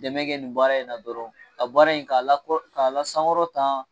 Dɛmɛ kɛ nin bɔra in na dɔrɔn ka bɔra in k'a la k'a sankɔrɔ tan